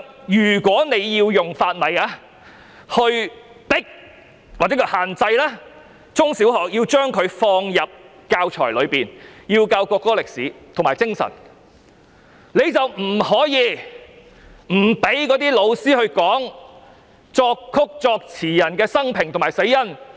如果政府要以法例逼迫中小學校把國歌放入教材，教授國歌的歷史和精神，便不可以不讓教師教授作曲人和作詞人的生平和死因。